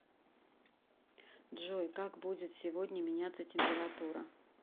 джой как будет сегодня меняться температура